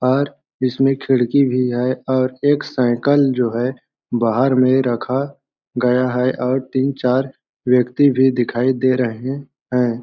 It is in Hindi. और इसमें खिड़की भी है और एक साइकल जो है बाहर में रखा गया है और तीन चार व्यक्ति भी दिखाई दे रहे हैं।